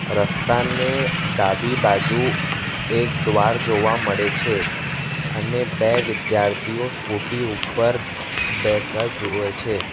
રસ્તાને ડાબી બાજુ એક દ્વાર જોવા મળે છે અને બે વિદ્યાર્થીઓ સ્કુટી ઉપર જુવે છે.